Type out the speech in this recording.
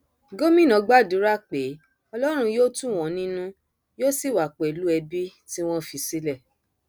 gomina gbàdúrà pé ọlọrun yóò tù wọn nínú yóò sì wà pẹlú ẹbí tí wọn fi sílẹ